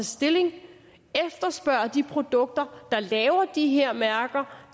stilling og efterspørge de produkter laver de her mærker